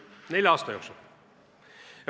Nelja aasta jooksul.